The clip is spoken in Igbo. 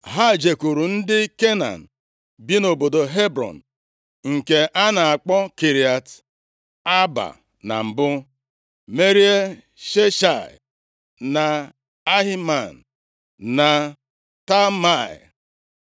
Ha jekwuru ndị Kenan bi nʼobodo Hebrọn (nke a na-akpọ Kiriat Aaba na mbụ) merie Sheshai, na Ahiman, na Talmai.